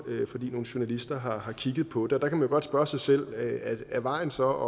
fordi nogle journalister har kigget på det og der kan man jo godt spørge sig selv er vejen så